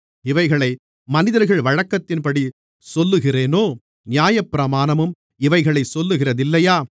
இவைகளை மனிதர்கள் வழக்கத்தின்படி சொல்லுகிறேனோ நியாயப்பிரமாணமும் இவைகளைச் சொல்லுகிறதில்லையா